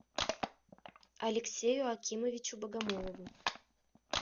алексею акимовичу богомолову